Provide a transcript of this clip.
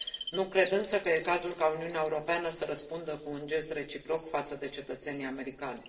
Nu cred însă că e cazul ca Uniunea Europeană să răspundă cu un gest reciproc față de cetățenii americani.